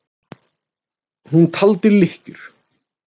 Hún taldi lykkjur.